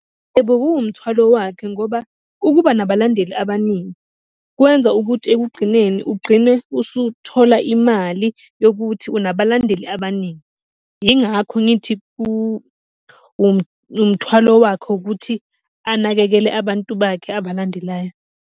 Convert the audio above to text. Yebo, kuwumthwalo wakhe ngoba ukuba nabalandeli abaningi kwenza ukuthi ekugqineni ugqine usuthola imali yokuthi unabalandeli abaningi. Yingakho ngithi umthwalo wakhe ukuthi anakekele abantu bakhe abalandelayo.